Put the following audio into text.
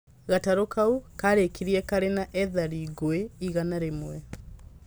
Gatarũ kau karikĩrire kaarĩ na ethari ngũĩ igana rĩmwe